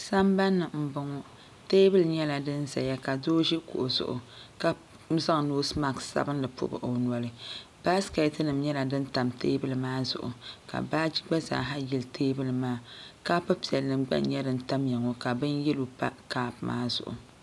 Sambanni m-boŋɔ teebuli nyɛla di zaya ka doo ʒi kuɣu zuɣu ka zaŋ noosimakisi sabinli m-pɔbi o noli baasikɛtinima nyɛla din tam teebuli maa zuɣuka baaji gba zaaha yili teebuli maa kaap'piɛlli gba n-nyɛ din tamiya ŋɔ ka bin yɛlo pa kaap zuɣu